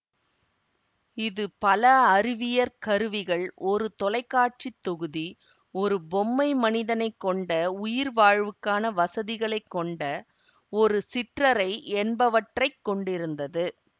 இது பல அறிவியற் கருவிகள் ஒரு தொலை காட்சி தொகுதி ஒரு பொம்மை மனிதனை கொண்ட உயிர் வாழ்வுக்கான வசதிகளை கொண்ட ஒரு சிற்றறை என்பவற்றை கொண்டிருந்தது